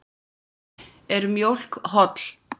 Er mjólk holl?